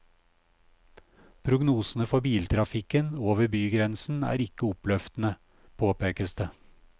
Prognosene for biltrafikken over bygrensen er ikke oppløftende, påpekes det.